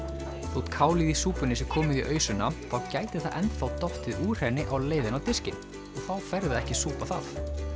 þótt kálið í súpunni sé komið í ausuna þá gæti það enn þá dottið úr henni á leiðinni á diskinn og þá færðu ekki að súpa það